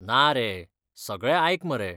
ना रे, सगळें आयक मरे.